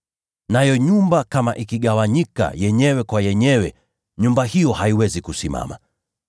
Nayo nyumba kama ikigawanyika dhidi yake yenyewe, nyumba hiyo haiwezi kusimama.